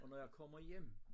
Og når jeg kommer hjem